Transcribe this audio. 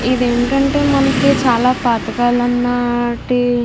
ఇది ఏంటంటే మనకి చాలా పాతకాలం లాంటి --